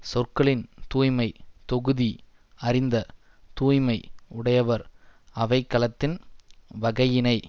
சொற்களின் தூய்மை தொகுதி அறிந்த தூய்மை உடையவர் அவைக்களத்தின் வகையினை